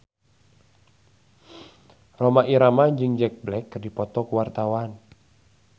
Rhoma Irama jeung Jack Black keur dipoto ku wartawan